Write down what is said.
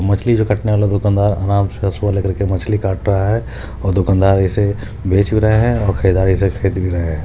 मछली जो काटने वाला दुकानदार आराम से रसुवा ले कर मछली काट रहा है और दुकानदार इसे बेच भी रहे है और खरीदार इसे खरीद भी रहे हैं।